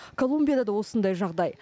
колумбияда да осындай жағдай